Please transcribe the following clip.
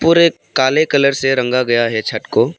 और एक काले कलर से रंगा गया है छत को।